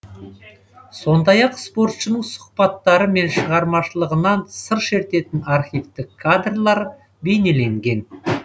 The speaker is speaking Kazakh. сондай ақ спортшының сұхбаттары мен шығармашылығынан сыр шертетін архивтік кадрлар бейнеленген